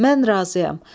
Mən razıyam.